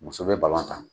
Muso bɛ tan